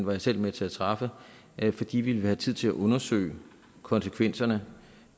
var jeg selv med til at træffe fordi vi ville have tid til at undersøge konsekvenserne